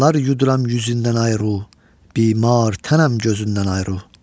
Qanlar yuduram yüzündən ayrı ru, bimar, tənəm gözündən ayrı ru.